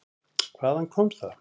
Hvaðan kom það?